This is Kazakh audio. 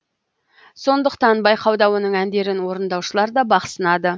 сондықтан байқауда оның әндерін орындаушылар да бақ сынады